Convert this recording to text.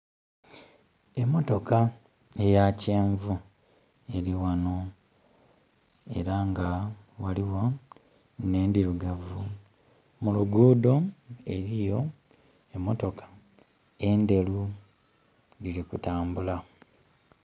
Emotoka eya kyenvu eli wano era nga waliwo nh'endhirugavu. Mu lugudho eliyo emotoka endheru dhiri ku tambula